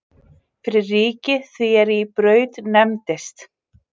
Fyrir ríki því er í Braut nefndist.